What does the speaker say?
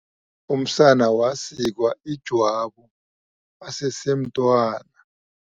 Umsana wasikwa ijwabu asesemntwana.